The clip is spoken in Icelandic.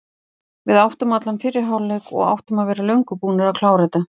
Við áttum allan fyrri hálfleik og áttum að vera löngu búnir að klára þetta.